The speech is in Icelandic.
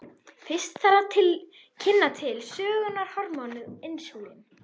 Fyrst þarf að kynna til sögunnar hormónið insúlín.